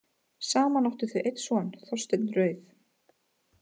Saman áttu þau einn son, Þorstein rauð.